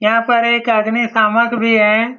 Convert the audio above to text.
यहाँ पर एक अग्निशामक भी है ।